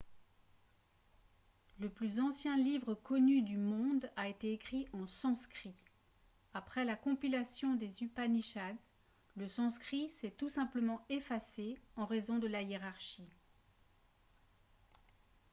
le plus ancien livre connu du monde a été écrit en sanskrit après la compilation des upanishads le sanskrit s'est tout simplement effacé en raison de la hiérarchie